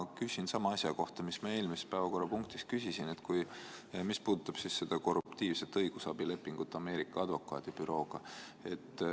Ma küsin sama asja kohta, mida ma eelmises päevakorrapunktis küsisin, mis puudutab korruptiivset õigusabilepingut Ameerika advokaadibürooga.